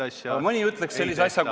Jah!